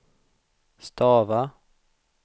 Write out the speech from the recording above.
stava